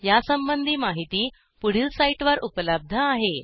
यासंबंधी माहिती पुढील साईटवर उपलब्ध आहे